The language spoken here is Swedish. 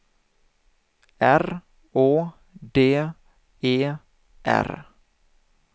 R Å D E R